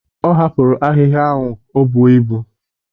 Ọ hapụrụ ahịhịa ahụ o buo ibu.